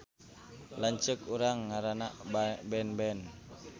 Lanceuk urang ngaranna Benben